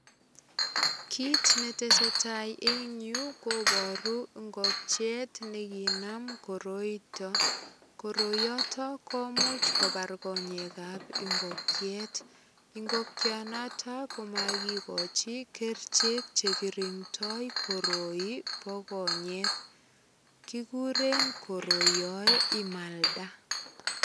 Kit netese tai eng yu kobaru ingokiet ne ginam koroito. Koroiyoto komuch kopar konyekab ingokiet. Ingokianoto komagigochi kerichek che girindoi koroi bo konyek. Kiguren koroiyoe imalda.